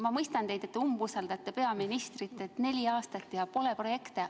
Ma mõistan teid, et umbusaldate peaministrit, et neli aastat ja pole projekte.